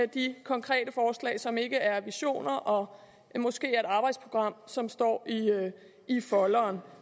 de konkrete forslag som ikke er visioner og måske er et arbejdsprogram som står i folderen